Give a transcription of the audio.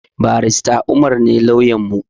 Barista umar ne lauyanmu